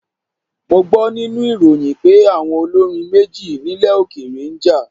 Mo gbọ́ nínú ìròyìn pé àwọn olórin méjì nílẹ̀ òkèèrè ń jà.